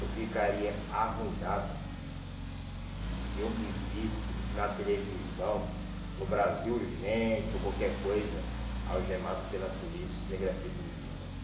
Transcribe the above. Eu ficaria arruinado se eu me visse na televisão, no Brasil Urgente ou qualquer coisa, algemado pela polícia cinegrafista me filmando ali.